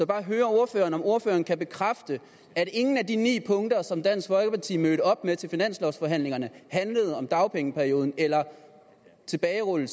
bare høre ordføreren om ordføreren kan bekræfte at ingen af de ni punkter som dansk folkeparti mødte op med til finanslovforhandlingerne handlede om dagpengeperioden tilbagerulning